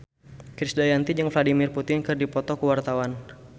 Krisdayanti jeung Vladimir Putin keur dipoto ku wartawan